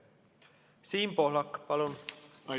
Siim Pohlak, palun!